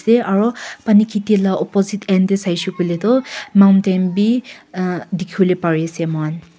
Eteh aro pani kheti la opposite end dae saishe koile tuh mountain bhi uhh dekhevole pare ase mokhan.